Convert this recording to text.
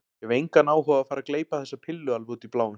Ég hef engan áhuga á að fara að gleypa þessa pillu alveg út í bláinn.